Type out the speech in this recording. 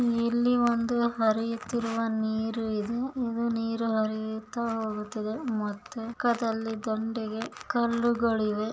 ಇಲ್ಲಿ ಒಂದು ಹರಿಯುತ್ತಿರುವ ನೀರು ಇದೆ ಇದು ನೀರು ಹರಿಯುತ್ತಾ ಹೋಗುತ್ತಿದೆಇದು ನೀರು ಹರಿಯುತ್ತಾ ಹೋಗುತ್ತಿದೆ ಮತ್ತೆಮುಕ್ಕದಲ್ಲಿ ದಂಡೆಗೆ ಕಲ್ಲುಗಳಿವೆ.